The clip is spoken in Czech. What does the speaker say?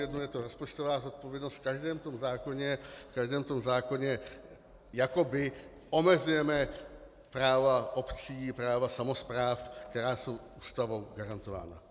Jednou je to rozpočtová zodpovědnost, v každém tom zákoně jakoby omezujeme práva obcí, práva samospráv, která jsou Ústavou garantována.